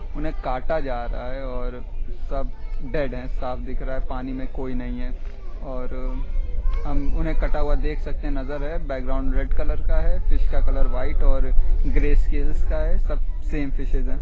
उन्हें काटा जा रहा है और सब बैठे हैं | साफ दिख रहा है पानी में कोई नहीं है और हम उन्हें कटा हुआ देख सकते हैं नजर है बैकग्राउंड रेड कलर का है फिश का कलर व्हाइट और ग्रे स्केल्स का है सब सेम फ़िशेस हैं।